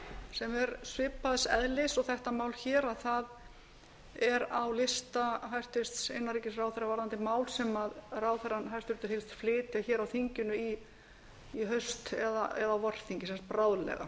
sem er svipaðs eðlis og þetta mál hér er á lista hæstvirtur innanríkisráðherra varðandi mál sem hæstvirtur ráðherra hyggst flytja á þinginu í haust eða á vorþingi bráðlega